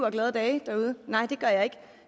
og glade dage derude nej det gør jeg ikke